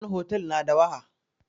ko wani hotel na da waha.